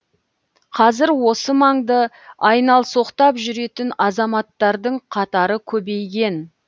қазір осы маңды айналсоқтап жүретін азаматтардың қатары көбейген